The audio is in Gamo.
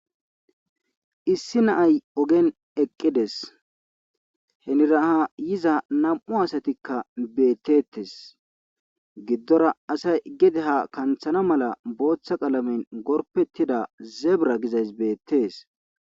Issi naay ogen eqqides heniraha yiza nam'u asatikka beettettes giddora asay gede ha kanthana mala booththa qalamen gorpettida zebra gizays beettees.